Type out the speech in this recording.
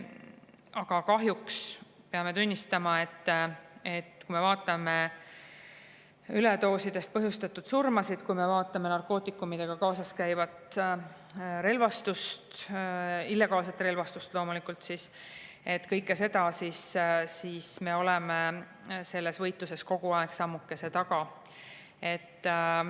Aga kahjuks peame tunnistama, et kui me vaatame üledoosidest põhjustatud surmasid, kui me vaatame narkootikumidega kaasas käivat relvastust – illegaalset relvastust loomulikult –, siis me oleme selles võitluses kogu aeg sammukese taga.